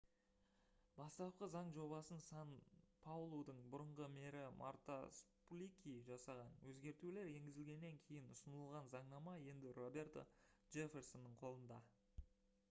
бастапқы заң жобасын сан-паулудың бұрынғы мэрі марта суплики жасаған өзгертулер енгізілгеннен кейін ұсынылған заңнама енді роберто джефферсонның қолында